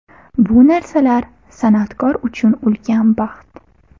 Bu narsalar san’atkor uchun ulkan baxt.